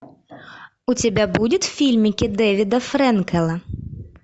у тебя будет фильмики дэвида фрэнкела